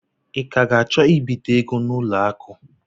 Ị ka ga-achọ I bite ego n'ụlọ akụ?